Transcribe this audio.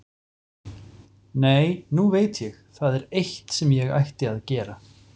Nei, nú veit ég, það er eitt sem ég ætti að gera.